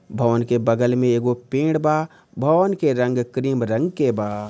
भवन के बगल में एगो पेड़ बा भवन के रंग क्रीम रंग के बा।